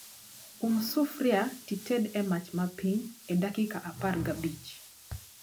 Um sufria tited e mach mapiny e dakika apar gabich